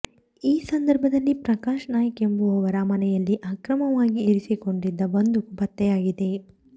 ಈ ಸಂದರ್ಭದಲ್ಲಿ ಪ್ರಕಾಶ ನಾಯ್ಕ ಎಂಬುವವರ ಮನೆಯಲ್ಲಿ ಅಕ್ರಮವಾಗಿ ಇರಿಸಿಕೊಂಡಿದ್ದ ಬಂದೂಕು ಪತ್ತೆಯಾಗಿದೆ